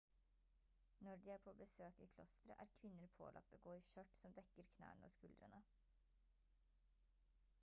når de er på besøk i klostre er kvinner pålagt å gå i skjørt som dekker knærne og skuldrene